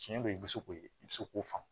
Tiɲɛ don i bɛ se k'o i bɛ se k'o faamu